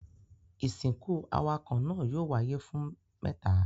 Ìsìnkú awakọ̀ náà yóò wáyé fún mẹ́ta.